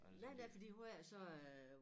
Nej nej fordi hver så øh